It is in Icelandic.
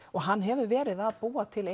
og hann hefur verið að búa til